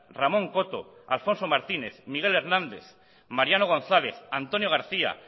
ramón coto alfonso martínez miguel hernández mariano gonzález antonio garcía